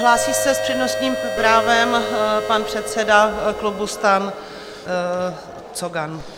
Hlásí se s přednostním právem pan předseda klubu STAN Cogan.